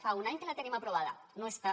fa un any que la tenim aprovada no està